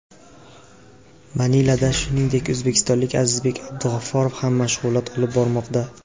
Manilada, shuningdek, o‘zbekistonlik Azizbek Abdug‘afforov ham mashg‘ulot olib bormoqda.